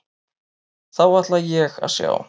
Þá ætla ég að sjá.